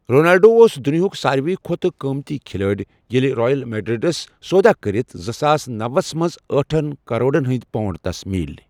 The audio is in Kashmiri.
رونالڈو اُوس دنیاہُک سارۍوٕے کھوتہ قۭمتی کھِلٲڑۍ ییٚلہ رایل میرڑیرس سودَہ کٔرتھ زٕساس نوسَ مَنٛز ٲٹھن کرورن ہٕنٛدۍ پونٛڈ تَس میٖلۍ.